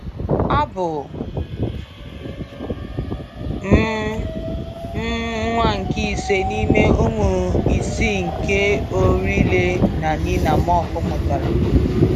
Abụ m m nwa nke ise n’ime ụmụ isii nke Orille na Nina Mock mụtara.